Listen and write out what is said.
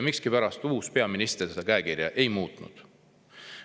Miskipärast ei ole uus peaminister seda käekirja muutnud.